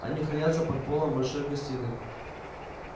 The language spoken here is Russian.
они хранятся под полом большой гостиной